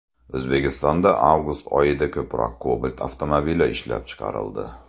O‘zbekistonda avgust oyida ko‘proq Cobalt avtomobili ishlab chiqarildi.